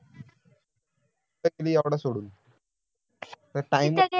टाकली एवढं सोडून ते TIME